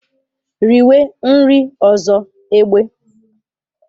Riwe nri ọzọ, egbe!